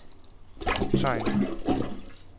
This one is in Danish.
optegn